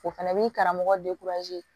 O fɛnɛ b'i karamɔgɔ